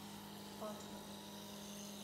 патна